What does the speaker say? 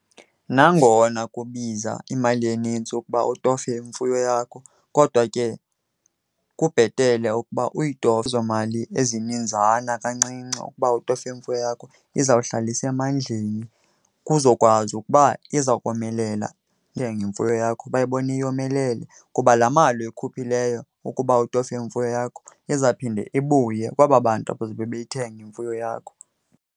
Nangona kubiza imali enintsi ukuba utofe imfuyo yakho, kodwa ke kubhetele ukuba uyitofe ezo mali ezininzana kancinci ukuba utofe imfuyo yakho. Izawuhlala isemandleni kuzokwazi ukuba iza komelela imfuyo yakho bayibone yomelele, kuba laa mali uyikhuphileyo ukuba utofe imfuyo yakho izaphinde ibuye kwaba bantu bazobe beyithenga imfuyo yakho.